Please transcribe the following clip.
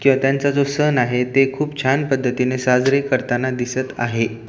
किंवा त्यांचा जो सण आहे तो खूप छान पद्धतीने साजरे करताना दिसत आहेत.